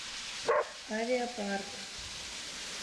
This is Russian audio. авиапарк